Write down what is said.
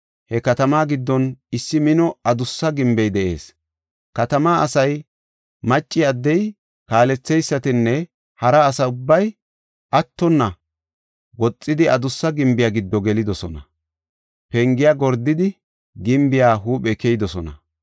He katamaa giddon issi mino adussa gimbey de7ees. Katamaa asay macci, addey, kaaletheysatinne hara asa ubbay attonna woxidi adussa gimbiya giddo gelidosona. Pengiya gordidi gimbiya huuphe keyidosona.